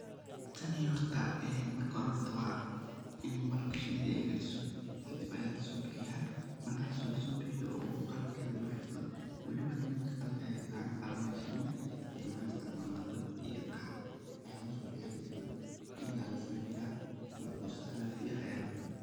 Tani horta, marka hore hort waa ini malabk shinada ay hegaajiso, kidib ayaa lisoobixiyaa, markaas oo lisoobixiyo oo qalabkedh loo xirto, walib nimank qalab ayaay haystaan aniga qalab mahaysano, maxan istacmalnaa dab iyo qac ayaa lugu soo bixiya. kadibna iidaa liskimiira, malabka oo saafi ah ayaa la cunaa.